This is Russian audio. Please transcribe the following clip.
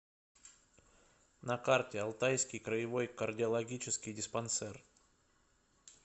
на карте алтайский краевой кардиологический диспансер